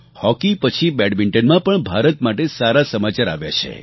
hockey પછી બૅડમિન્ટનમાં પણ ભારત માટે સારા સમાચાર આવ્યા છે